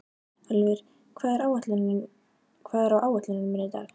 Ölvir, hvað er á áætluninni minni í dag?